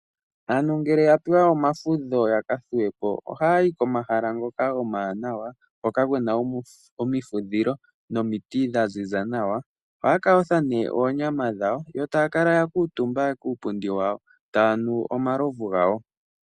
Aantu ngele yapewa omafudho yaka thuwepo, ohayayi komahala ngoka omawanawa, hoka kuna omifudhilo nomiti dha ziza nawa. Ohaya kayotha ne oonyama dhawo, yo taya kala ya kuuntumba kuupundi taya nu omalovu gawo.